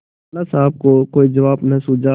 लाला साहब को कोई जवाब न सूझा